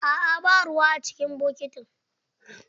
Aa ba ruwa a cikin bokitin.